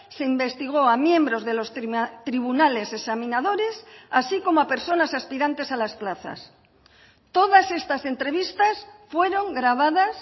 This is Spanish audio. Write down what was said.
se investigó a miembros de los tribunales examinadores así como a personas aspirantes a las plazas todas estas entrevistas fueron grabadas